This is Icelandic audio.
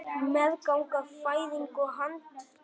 Meðganga, fæðing og handtaka